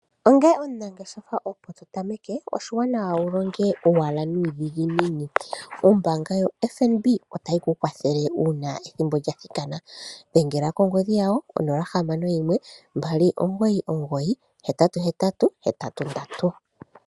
Onge omunangeshefa opo to tameke, oshiwanawa wu longe owala nuudhiginini. Ombaanga yo FNB otayi ku kwathele uuna ethimbo lya thikana, dhengela kongodhi yawo onola nohamano noyimwe, mbali omigoyi dhili mbali, oohetatu ndatu nondatu. (0612998883.)